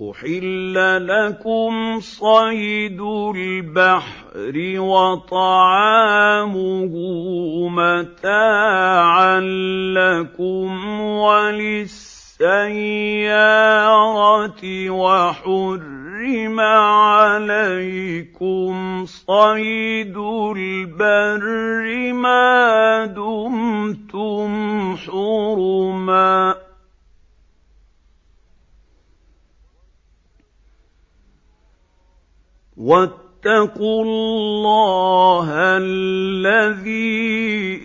أُحِلَّ لَكُمْ صَيْدُ الْبَحْرِ وَطَعَامُهُ مَتَاعًا لَّكُمْ وَلِلسَّيَّارَةِ ۖ وَحُرِّمَ عَلَيْكُمْ صَيْدُ الْبَرِّ مَا دُمْتُمْ حُرُمًا ۗ وَاتَّقُوا اللَّهَ الَّذِي